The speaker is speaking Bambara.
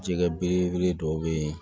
Jɛgɛ belebele dɔw bɛ yen